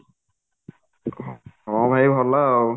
ହଁ, ଭାଇ ଭଲ ଆଉ